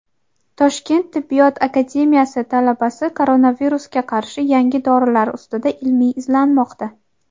Toshkent tibbiyot akademiyasi talabasi koronavirusga qarshi yangi dorilar ustida ilmiy izlanmoqda.